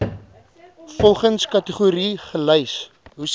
volgens kategorie gelys